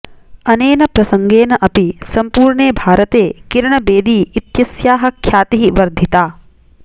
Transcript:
अनेन प्रसङ्गेन अपि सम्पूर्णे भारते किरण बेदी इत्यस्याः ख्यातिः वर्धिता